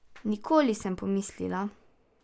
Nikoli, sem pomislila.